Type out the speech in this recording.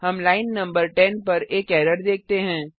हम लाइन न 10 पर एक एरर देखते हैं